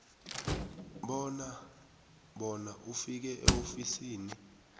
bona ufike eofisini